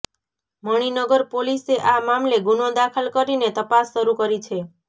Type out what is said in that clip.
મણિનગર પોલીસે આ મામલે ગુનો દાખલ કરીને તપાસ શરૂ કરી છે